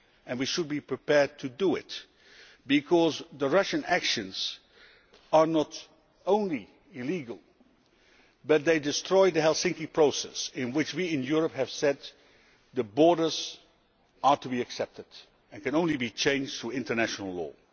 We should be prepared to do this because the Russian actions are not only illegal, they also destroy the Helsinki Process in which we in Europe have said that borders are to be accepted and can only be changed through international law.